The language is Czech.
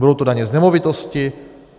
Budou to daně z nemovitosti?